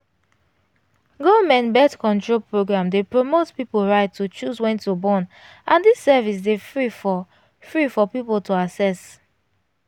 government birth-control program dey promote pipo right to choose wen to born and this service dey free for free for pipo to access